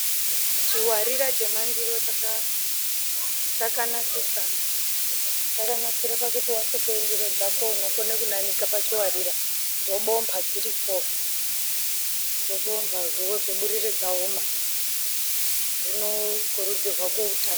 Chiwatira chemandiro chaka chakanakisa chakanakire pakuti wasuka ndiro dzako unokone kunanika pachiwarira dzobompa dziripo dzobomba wozoburire dzaoma zvinokurudzirwa kuutano.